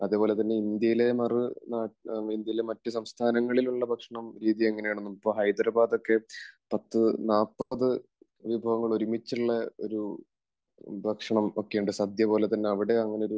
അതുപോലെതന്നെ ഇന്ത്യയിലെ മറു നാട്... ഇന്ത്യയിലെ മറ്റു സംസ്ഥാനങ്ങളിൽ ഉള്ള ഭക്ഷണം, രീതി എങ്ങനെയാണെന്നും ഇപ്പോൾ ഹൈദരാബാദ് ഒക്കെ പത്തുനാല്പതു വിഭവങ്ങൾ ഒരുമിച്ചുള്ള ഒരു ഭക്ഷണം ഒക്കെ ഉണ്ട്. സദ്യ പോലെ തന്നെ അവിടെയും അങ്ങനെ ഒരു